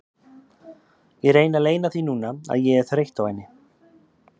Ég reyni að leyna því núna að ég er þreytt á henni.